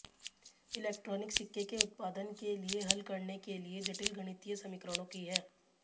electronic सिक्के के उत्पादन के लिए हल करने के लिए जटिल गणितीय समीकरणों की है